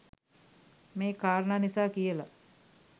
මේ කාරණා නිසා කියල.